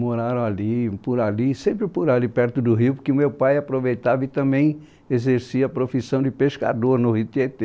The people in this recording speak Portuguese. Moraram ali, por ali, sempre por ali, perto do rio, porque meu pai aproveitava e também exercia a profissão de pescador no Rio Tietê.